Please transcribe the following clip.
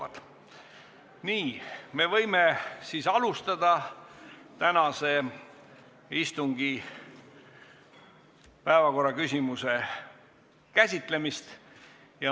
Aga nüüd võime alustada tänase istungi päevakorraküsimuse käsitlemist.